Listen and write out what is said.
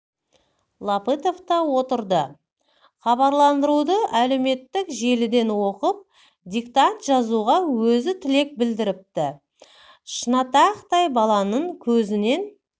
латыпов та отырды хабарландыруды әлеуметтік желіден оқып диктант жазуға өзі тілек білдіріпті шынашақтай баланың көзінен